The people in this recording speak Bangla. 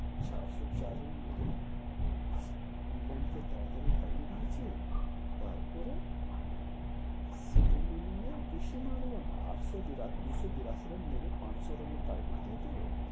চারশো চার run মেরে, ইংল্যান্ড কে তাড়াতাড়ি হারিয়ে দিয়েছে, তার পরে second inning এ বেশি মারলো না আটশো বিরা~দুশো বিরাশি run মেরে পাঁচশো run এর target দিয়ে ডেল,